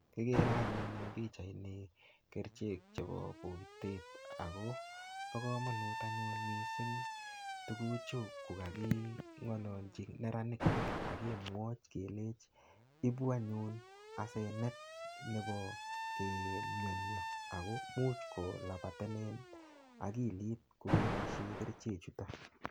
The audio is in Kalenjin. Akere anyun eng pichait ni kerichek chebo pokitet. Akopbo komonut missing tuguchu kokaking'alalchi neranik, akemwochi keleji ibu anyun asenet nebo keip mianyo. Akomuch kolabatenen akilit kokeboisie kerichek chutok.